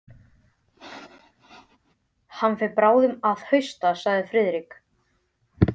Hann fer bráðum að hausta sagði Friðrik.